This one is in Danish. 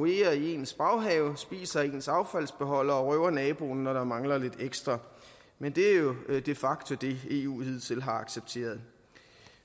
i ens baghave spiser af ens affaldsbeholder og røver naboen når der mangler lidt ekstra men det er jo de facto det eu hidtil har accepteret